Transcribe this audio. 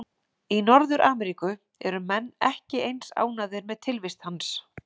Í Norður-Ameríku eru menn ekki eins ánægðir með tilvist hans.